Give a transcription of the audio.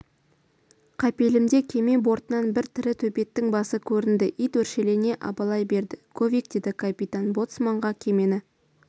қапелімде кеме бортынан бір ірі төбеттің басы көрінді ит өршелене абалай берді говик деді капитан боцманғакемені